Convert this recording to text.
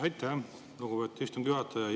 Aitäh, lugupeetud istungi juhataja!